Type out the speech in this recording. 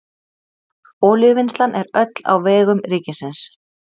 olíuvinnslan er öll á vegum ríkisins